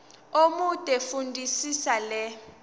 omude fundisisa le